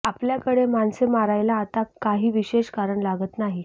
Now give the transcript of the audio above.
आपल्याकडे माणसे मरायला आता काही विशेष कारण लागत नाही